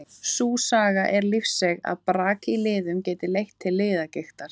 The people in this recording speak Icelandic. Sú saga er lífseiga að brak í liðum geti leitt til liðagigtar.